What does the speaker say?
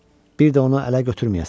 Bir də onu ələ götürməyəsən.